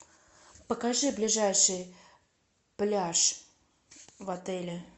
покажи ближайший пляж в отеле